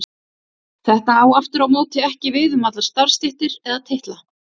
Þetta á aftur á móti ekki við um allar starfstéttir eða titla.